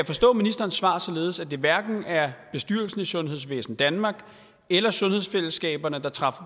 forstå ministerens svar således at det hverken er bestyrelsen i sundhedsvæsen danmark eller sundhedsfællesskaberne der træffer